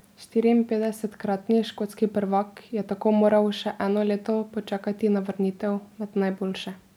Štiriinpetdesetkratni škotski prvak je tako moral še eno leto počakati na vrnitev med najboljše.